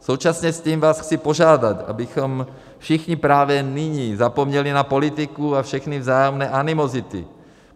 Současně s tím vás chci požádat, abychom všichni právě nyní zapomněli na politiku a všechny vzájemné animozity.